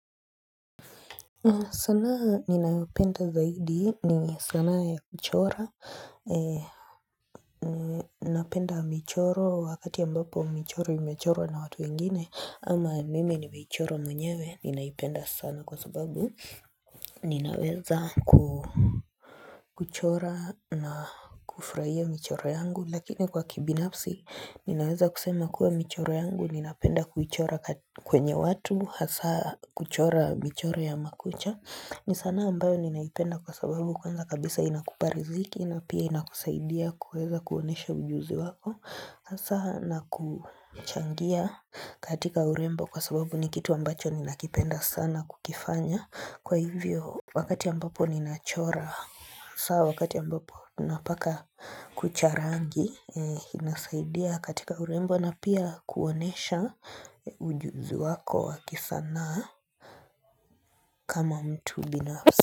Sanaa ninayopenda zaidi ni sanaa ya kuchora ee Ninapenda michoro wakati ambapo michoro imechorwa na watu wengine ama mimi nimeichora mwenyewe ninaipenda sana kwa sababu ninaweza ku kuchora na kufraia michoro yangu lakini kwa kibinafsi ninaweza kusema kuwa michoro yangu ninapenda kuchora kwenye watu hasa kuchora michoro ya makucha ni sana ambayo ninaipenda kwa sababu kwanza kabisa inakupa riziki na pia inakusaidia kuweza kuonesha ujuzi wako. Saha na kuchangia katika urembo kwa sababu ni kitu ambacho ninakipenda sana kukifanya. Kwa hivyo wakati ambapo ninachora. Saha wakati ambapo napaka kucha rangi. Inasaidia katika urembo na pia kuonesha ujuzi wako wa kisanaa kama mtu binafsi.